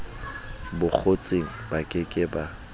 bokgotsing ba ke ke ba